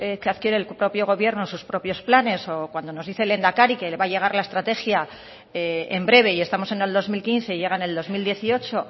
que adquiere el propio gobierno en sus propios planes o cuando nos dice el lehendakari que le va a llegar la estrategia en breve y estamos en el dos mil quince y llega en el dos mil dieciocho